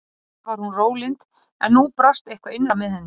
Yfirleitt var hún rólynd en nú brast eitthvað innra með henni.